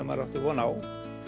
maður átti von á